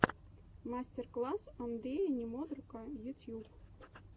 мастер класс андрея немодрука ютьюб